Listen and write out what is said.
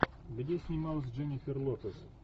где снималась дженнифер лопес